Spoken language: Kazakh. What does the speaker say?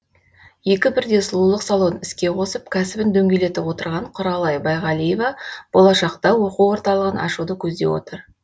екі бірдей сұлулық салонын іске қосып кәсібін дөңгелетіп отырған құралай байғалиева болашақта оқу орталығын ашуды көздеп отыр